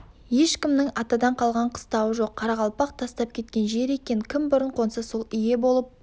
ешкімнің атадан қалған қыстауы жоқ қарақалпақ тастап кеткен жер екен кім бұрын қонса сол ие болып